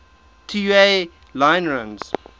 tua line runs